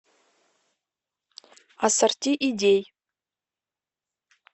ассорти идей